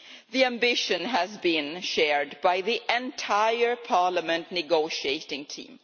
The ambition has been shared by the entire Parliament negotiating team.